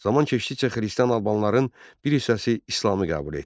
Zaman keçdikcə xristian Albanların bir hissəsi İslamı qəbul etdi.